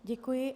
Děkuji.